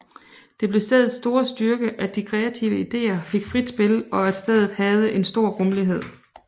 Det blev stedets store styrke at de kreative ideer fik frit spil og at stedet havde en stor rummelighed